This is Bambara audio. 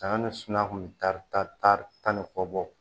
Saɲɔ ni suman kun be taari tanri tan ni kɔ bɔ